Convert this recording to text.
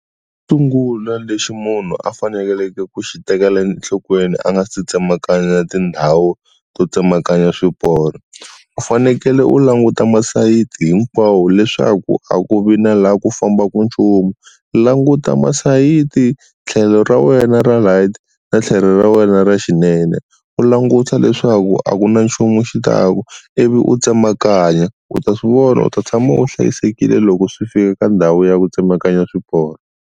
Xo sungula lexi munhu a faneleke ku xi tekela enhlokweni a nga si tsemakanya tindhawu to tsemakanya swiporo u fanekele u languta masayiti hinkwawo leswaku a ku vi na laha ku fambaka nchumu, languta masayiti tlhelo ra wena ra right na tlhelo ra wena ra xinene u languta leswaku a ku na nchumu xi taka ivi u tsemakanya. U ta swi vona u ta tshama u hlayisekile loko swi fika eka ndhawu ya ku tsemakanya swiporo.